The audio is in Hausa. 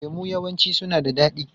Lemu yawanci suna da daɗi.